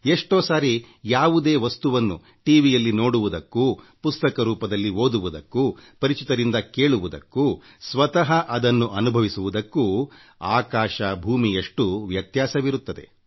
ಎಷ್ಟೋ ಸಾರಿ ಯಾವುದನ್ನೋ ಟಿ ವಿ ಯಲ್ಲಿ ನೋಡುವುದಕ್ಕೂ ಪುಸ್ತಕದಲ್ಲಿ ಓದುವುದಕ್ಕೂಪರಿಚಿತರಿಂದ ಕೇಳುವುದಕ್ಕೂ ಸ್ವತಃ ಅದನ್ನು ನೋಡಿ ಅನುಭವಿಸುವುದಕ್ಕೂ ಆಕಾಶ ಭೂಮಿಯಷ್ಟು ವ್ಯತ್ಯಾಸವಿರುತ್ತದೆ